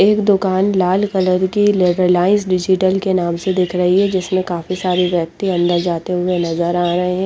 एक दूकान लाल कलर की रेलाइन्स डिजिटल के नाम से दिख रही है जिसमे काफी सारे व्यक्ति अन्दर बेठे हुए नज़र आ रहे है।